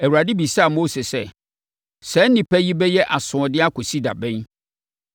Awurade bisaa Mose sɛ, “Saa nnipa yi bɛyɛ asoɔden akɔsi da bɛn?